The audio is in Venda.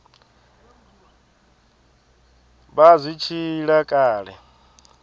vha zwi tshi ila kale